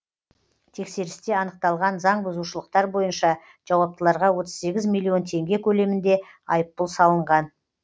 тексерісте анықталған заңбұзушылықтар бойынша жауаптыларға отыз сегіз миллион теңге көлемінде айыппұл салынған